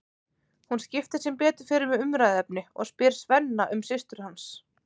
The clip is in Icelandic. Hún skiptir sem betur fer um umræðuefni og spyr Svenna um systur hans.